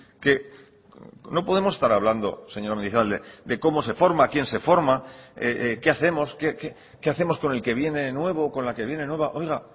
que no podemos estar hablando señor de cómo se forma a quién se forma qué hacemos qué hacemos con el que viene nuevo o con la que viene nueva oiga